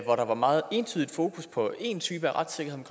hvor der var meget entydigt fokus på én type retssikkerhed